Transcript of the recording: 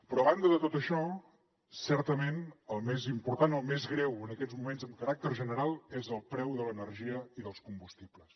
però a banda de tot això certament el més important o el més greu en aquests moments amb caràcter general és el preu de l’energia i dels combustibles